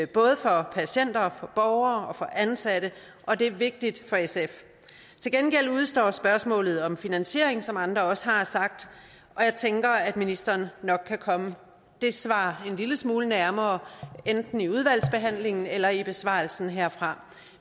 både for patienter borgere og ansatte og det er vigtigt for sf til gengæld udestår spørgsmålet om finansiering som andre også har sagt og jeg tænker at ministeren nok kan komme et svar det en lille smule nærmere enten i udvalgsbehandlingen eller i besvarelsen herfra